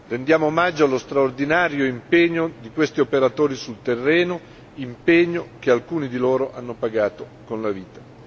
Rendiamo omaggio allo straordinario impegno di questi operatori sul terreno, impegno che alcuni di loro hanno pagato con la vita.